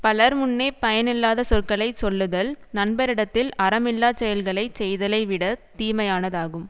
பலர் முன்னே பயனில்லாத சொற்களை சொல்லுதல் நண்பரிடத்தில் அறம் இல்லா செயல்களை செய்தலை விட தீமையானதாகும்